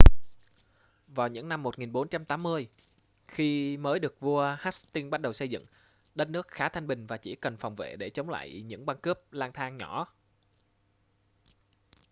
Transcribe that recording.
vào những năm 1480 khi mới được vua hastings bắt đầu xây dựng đất nước khá thanh bình và chỉ cần phòng vệ để chống lại những băng cướp lang thang nhỏ